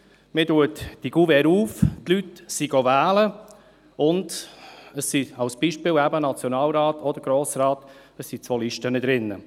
Man öffnet die Kuverts, nachdem die Leute wählen gingen, und es sind, am Beispiel des Nationalrats oder des Grossen Rates, zwei Listen drin.